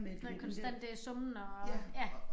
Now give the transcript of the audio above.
Den konstante summen og ja